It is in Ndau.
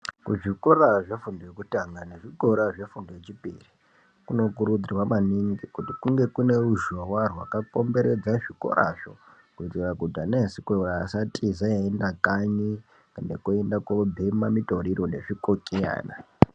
Kuzvikora zvefundo yekutanga nezvikora zvefundo yechipiri kunokurudzirwa maningi kuti kunge kune ruzhowa rwakakomberedza zvikorazvo kuitira kuti ana echikora asatiza eienda kanyi kana kuenda koobhema mitoriro nezvikokiyana.